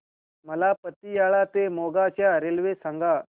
मला पतियाळा ते मोगा च्या रेल्वे सांगा